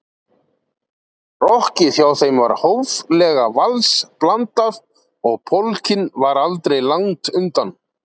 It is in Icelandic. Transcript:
Rokkið hjá þeim var hóflega vals-blandað og polkinn var aldrei langt undan.